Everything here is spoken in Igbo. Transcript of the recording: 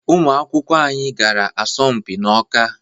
Ụmụ akwụkwọ anyị gara asọmpi n’Ọká